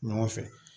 Ɲɔgɔn fɛ